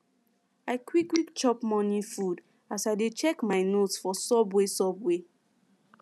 i quick quick chop morning food as i dey check my notes for subway subway